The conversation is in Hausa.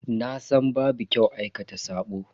Nasan babu kyau aikata sabo.